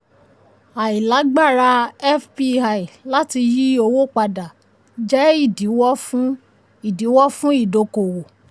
àìlágbára fpi láti yí owó padà jẹ́ ìdíwó fún ìdíwó fún ìdókòwò.